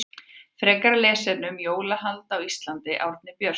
Frekara lesefni um jólahald á Íslandi Árni Björnsson.